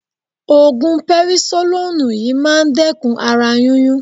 Ògùn perisolónùù yí máa dẹ́kun ara yúnyún.